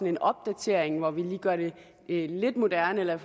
en opdatering hvor vi lige gør det lidt moderne og